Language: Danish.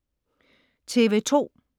TV2: